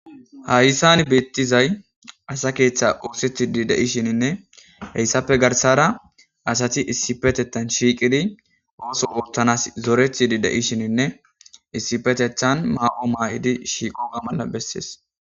Hayssan beettizay asa keeththe uosethidi de'i shininne heyssafe garsara asati issipetetan shiiqidi ooso wottanas zorethidi de7i shininne issipetethan maa7o maa'idi shiiqo ga mala bessees.